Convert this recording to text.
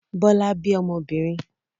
Bọ́lá bí ọmọbìnrin?